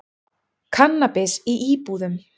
Kannabis í íbúðum